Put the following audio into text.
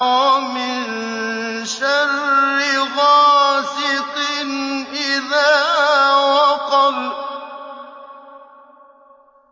وَمِن شَرِّ غَاسِقٍ إِذَا وَقَبَ